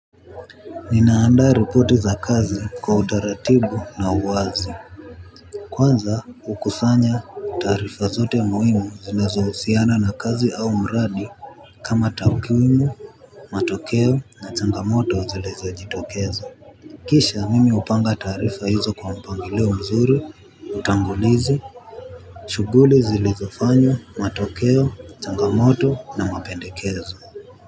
Ninaanda ripoti za kazi kwa utaratibu na uwazi. Kwanza ukusanya taarifa zote muimu zinazo husiana na kazi au mradi. Kama takwimu, matokeo na changamoto zilizojitokeza kisha mimi hupanga taarifa hizo kwa mpangilio mzuri utangulizi shuguli zilizofanywa, matokeo, changamoto na mapendekezo.